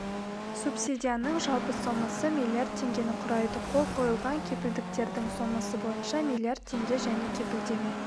субсидияның жалпы сомасы миллиард теңгені құрайды қол қойылған кепілдіктердің сомасы бойынша миллиард теңге және кепілдеме